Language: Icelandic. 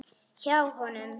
Hjá honum.